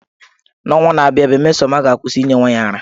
N’ọnwa na-abịa abịa, Mmesoma ga-akwụsị inye nwa ya ara.